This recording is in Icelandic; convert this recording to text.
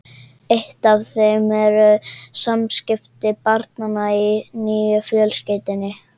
Eitt af þeim eru samskipti barnanna í nýju fjölskyldunni.